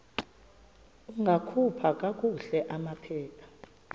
ungakhupha kakuhle amaphepha